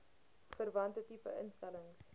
verwante tipe instellings